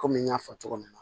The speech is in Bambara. Kɔmi n y'a fɔ cogo min na